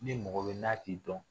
Ni mɔgɔ bɛ n'a t'i dɔn